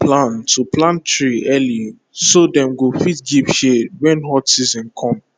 make you plan to plant tree early so dem go fit give shade when hot season come